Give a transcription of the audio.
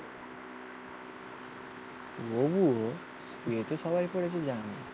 তুইও তো সবাই করেছে জানিস।